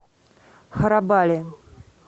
харабали